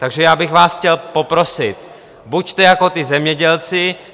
Takže já bych vás chtěl poprosit, buďte jako ti zemědělci.